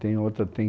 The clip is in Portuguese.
Tem outra, tem